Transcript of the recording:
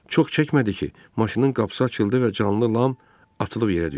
Çox çəkmədi ki, maşının qapısı açıldı və canlı Lam atılıb yerə düşdü.